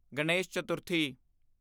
Ganesh Chaturthi